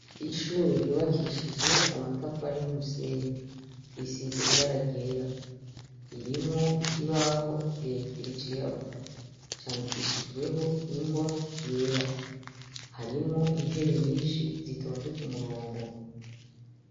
Ishure ryubakishije amatafari n'umusenyi risize ibara ryera ririmwo ikibaho kirekire cirabura candikishijweho ingwa yera harimwo intebe nyishi zitonze k'umurongo.